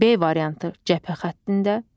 B variantı: cəbhə xəttində.